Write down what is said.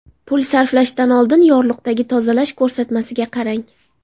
Pul sarflashdan oldin yorliqdagi tozalash ko‘rsatmasiga qarang.